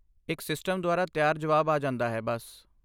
ਇੱਕ ਸਿਸਟਮ ਦੁਆਰਾ ਤਿਆਰ ਜਵਾਬ ਆ ਜਾਂਦਾ ਹੈ, ਬੱਸ।